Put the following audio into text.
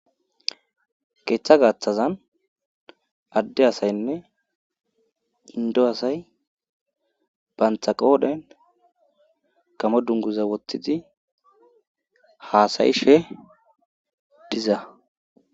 keeththa gaaththazan adde asaynne indo asay banthaqoodhen gamo dunguza woththidi haasayishe diza